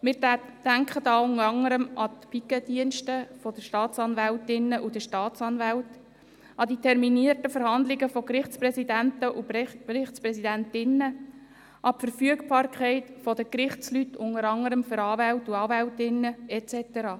Wir denken unter anderem an die Pikettdienste der Staatsanwältinnen und Staatsanwälte, an die terminierten Verhandlungen von Gerichtspräsidenten und Gerichtspräsidentinnen, an die Verfügbarkeit der Gerichtsleute unter anderem der Anwälte und Anwältinnen et cetera.